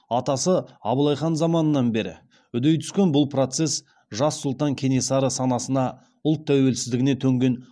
атасы абылай хан заманынан бері үдей түскен бұл процесс жас сұлтан кенесары санасына ұлт тәуелсіздігіне төнген